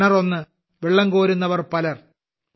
കിണർ ഒന്ന് വെള്ളം കോരുന്നവർ പലർ